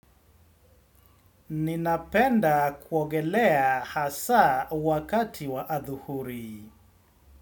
Ninapenda kuogelea hasa wakati wa adhuhuri.